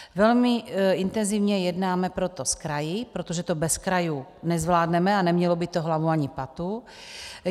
Velmi intenzivně jednáme proto s kraji, protože to bez krajů nezvládneme a nemělo by to hlavu ani patu.